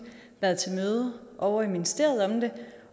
været til møde ovre i ministeriet om det